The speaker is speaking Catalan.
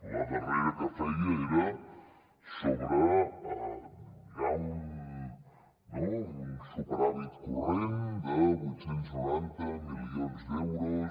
la darrera que feia era sobre un superàvit corrent de vuit cents i noranta milions d’euros